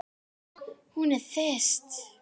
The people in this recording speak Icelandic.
Hún er þyrst.